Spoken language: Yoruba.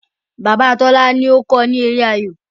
bàbà Tola ló kọ ni èrè ayọ